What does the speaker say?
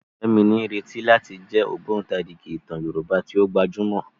Fẹ́mi ní ìrètí láti jẹ́ ògbótarìgì ìtàn ilẹ̀ Yorùbá tí ó gbajúmọ̀.